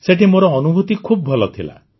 ସେଠି ମୋ ଅନୁଭୂତି ଖୁବ ଭଲ ଥିଲା